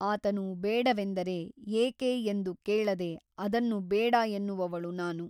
ಆತನು ಬೇಡವೆಂದರೆ ಏಕೆ ಎಂದು ಕೇಳದೆ ಅದನ್ನು ಬೇಡ ಎನ್ನುವವಳು ನಾನು.